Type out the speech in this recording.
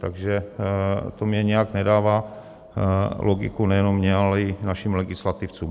Takže to mi nějak nedává logiku, nejenom mně, ale i našim legislativcům.